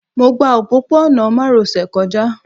Mo gba òpópó-ọ̀nà márosẹ̀ kọjá